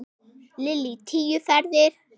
Lillý: Tíu ferðir?